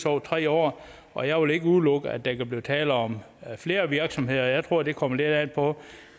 over tre år og jeg vil ikke udelukke at der kan blive tale om flere virksomheder jeg tror det kommer lidt an på